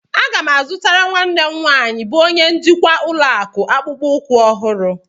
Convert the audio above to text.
Aga m azụtara nwanne m nwaanyị bụ onye njikwa ụlọakụ akpụkpọ ụkwụ ọhụrụ.